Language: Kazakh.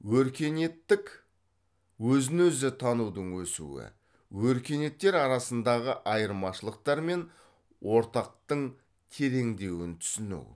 өркениеттік өзін өзі танудың өсуі өркениеттер арасындағы айырмашылықтар мен ортақтың тереңдеуін түсіну